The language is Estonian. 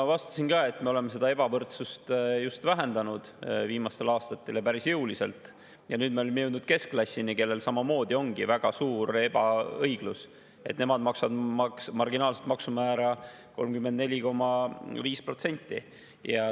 Ma vastasin, et me oleme seda ebavõrdsust just vähendanud viimastel aastatel päris jõuliselt ja nüüd me oleme jõudnud keskklassini, kellel samamoodi ongi väga suur ebaõiglus, et nemad maksavad marginaalset maksumäära 34,5%.